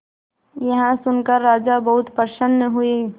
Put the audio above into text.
यह सुनकर राजा बहुत प्रसन्न हुए